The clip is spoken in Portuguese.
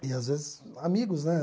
E às vezes amigos, né?